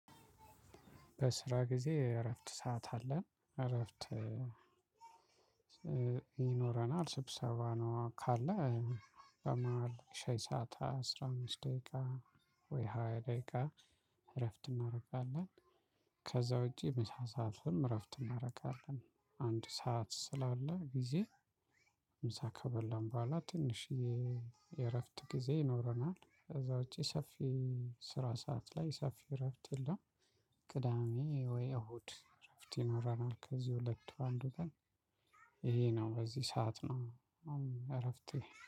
በስራ ጊዜ እረፍት ሰዓት አለን እረፍት ይኖረናል። ስብሰባ ነው ካለ በመሃል ሻይ ሰዓት አስራ አምስት ደቂቃ ወይ ሃያ ደቂቃ እረፍት እናደርጋለን። ከዛ ውጪ ምሳ ሰዓትም እረፍት እናደርጋለን አንድ ሰዓት ስላለ ጊዜ ምሳ ከበላን በኋላ ትንሽዬ የእረፍት ጊዜ ይኖረናል። ከዛ ውጪ ሰፊ ስራ ሰዓት ላይ ሰፊ እረፍት የለም። ቅዳሜ ወይ እሁድ እረፍት ይኖረናል። ከዚህ ሁለት አንዱ ጋር። ይሄ ነው በዚህ ሰዓት ነው። እረፍት